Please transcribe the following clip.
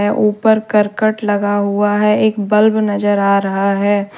ऊपर करकट लगा हुआ है एक बल्ब नजर आ रहा है।